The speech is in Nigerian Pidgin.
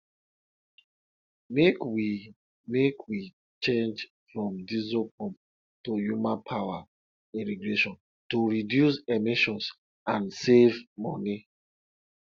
sweet corn sweet well-well corn sweet well-well if you use compost wey come from back of yam wey burn and peels